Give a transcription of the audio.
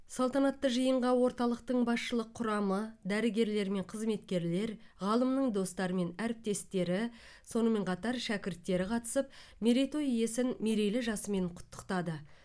салтанатты жиынға орталықтың басшылық құрамы дәрігерлер мен қызметкерлер ғалымның достары мен әріптестері сонымен қатар шәкірттері қатысып мерейтой иесін мерейлі жасымен құттықтады